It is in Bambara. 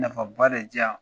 Nafa ba de di yan